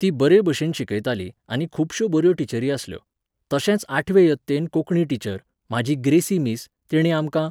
ती बरे भाशेन शिकयताली आनी खूबश्यो बऱ्यो टिचरी आसल्यो. तशेंच आठवे यत्तेन कोंकणी टिचर, म्हाजी ग्रेसी मिस, तिणे आमकां